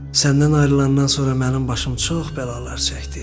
Səndən ayrılandan sonra mənim başım çox bəlalar çəkdi.